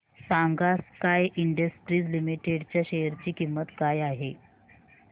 सांगा sky industries limited च्या share ची किंमत काय आहे